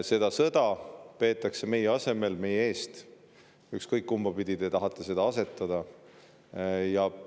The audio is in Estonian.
Seda sõda peetakse meie asemel, meie eest, ükskõik kumbapidi teie tahate seda.